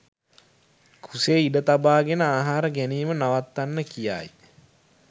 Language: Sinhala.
කුසේ ඉඩ තබාගෙන ආහාර ගැනීම නවත්වන්න කියායි.